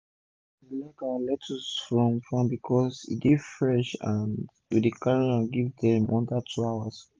our customer dey like our lecttuce from farm becos e dey fresh and we dey carry am go give dem under two hours